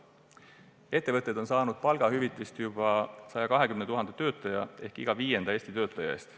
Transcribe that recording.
Ettevõtted on saanud palgahüvitist juba 120 000 töötaja ehk iga viienda Eesti töötaja eest.